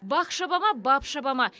бақ шаба ма бап шаба ма